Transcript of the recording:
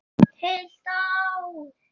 Heilt ár!